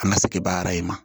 An ka sigibaa in ma